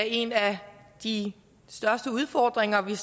en af de største udfordringer vi